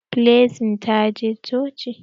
Blessing ta je coci.